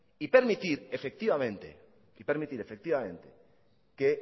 y permitir efectivamente que